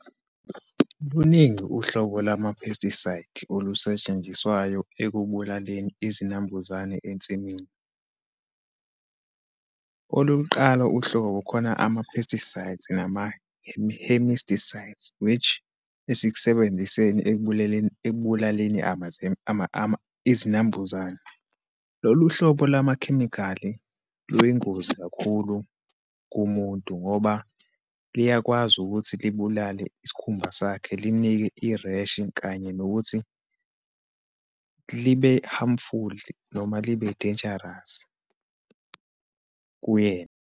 Luningi uhlobo lwama-pesticide olusetshenziswayo ekubulaleni izinambuzane ensimini. Olokuqala uhlobo, kukhona ama-pesticides, nama hemisticides, which esikusebenziseni ekubuleleni, ekubulaleni izinambuzane. Lolu hlobo lamakhemikhali luyingozi kakhulu kumuntu ngoba liyakwazi ukuthi libulale isikhumba sakhe, limnike i-rash, kanye nokuthi libe harmful noma libe dangerous kuyena.